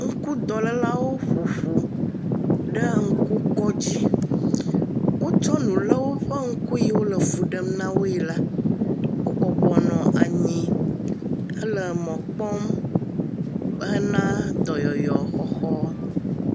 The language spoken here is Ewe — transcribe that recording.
Ŋku dɔlelawo woƒo ƒu ɖe ŋku kɔdzi. Wo kɔ nulawo ƒe ŋku yi le fu ɖem na woe la, wo bɔbɔnɔ anyi he le mɔ kpɔm he na dɔyɔyɔ xɔxɔ.